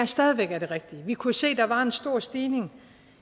stadig væk er det rigtige vi kunne se at der var en stor stigning